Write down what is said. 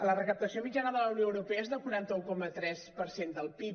la recaptació mitjana de la unió europea és de quaranta un coma tres per cent del pib